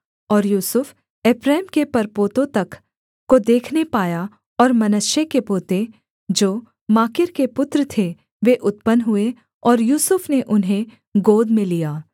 और यूसुफ एप्रैम के परपोतों तक को देखने पाया और मनश्शे के पोते जो माकीर के पुत्र थे वे उत्पन्न हुए और यूसुफ ने उन्हें गोद में लिया